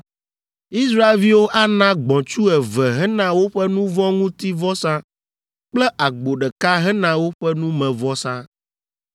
Israelviwo ana gbɔ̃tsu eve hena woƒe nu vɔ̃ ŋuti vɔsa kple agbo ɖeka hena woƒe numevɔsa.